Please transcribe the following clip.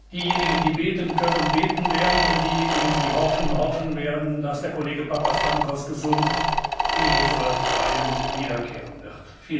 dass diejenigen, die beten können, beten werden und diejenigen, die hoffen, hoffen werden, dass der Kollege Papastamkos gesund in unsere Reihen wiederkehren wird.